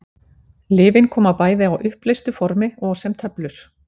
Lyfin koma bæði á uppleystu formi og sem töflur.